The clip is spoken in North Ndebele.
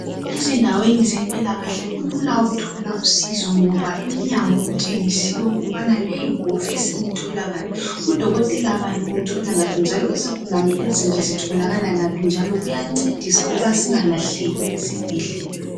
Ezindaweni zempilakahle kulula ukuthola usizo ngoba iminyango kutshengisiwe ukubana leyi iwofisi uyithola ngaphi. Udokotela bani umthola ngaphi njalo izigulane ezinje zitholakala ngaphi njalo kuyancedisa ukuba singalahleki esibhedlela.